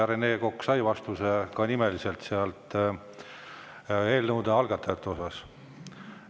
Rene Kokk sai vastuse ka nimeliselt eelnõude algatajate osas.